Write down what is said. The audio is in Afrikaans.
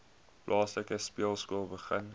plaaslike speelskool begin